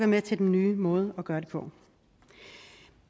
med til den nye måde at gøre det på